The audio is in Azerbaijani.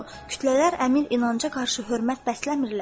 Kütlələr Əmir İnanca qarşı hörmət bəsləmirlər.